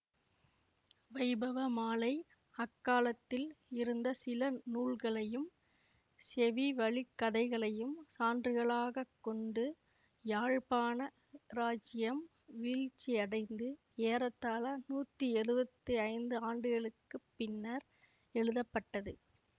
வைபவமாலை அக்காலத்தில் இருந்த சில நூல்களையும் செவிவழிக்கதைகளையும் சான்றுகளாகக் கொண்டு யாழ்ப்பாண இராச்சியம் வீழ்ச்சியடைந்து ஏறத்தாழ நூத்தி எழுவத்தி ஐந்து ஆண்டுகளுக்கு பின்னர் எழுதப்பட்டது